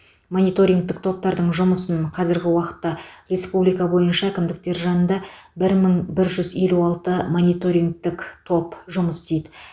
мониторингтік топтардың жұмысын қазіргі уақытта республика бойынша әкімдіктер жанында бір мың бір жүз елу алты мониторингтік топ жұмыс істейді